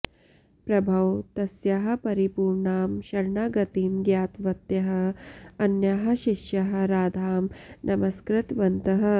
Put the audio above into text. प्रभौ तस्याः परिपूर्णां शरणागतिं ज्ञातवत्यः अन्याः शिष्याः राधां नमस्कृतवन्तः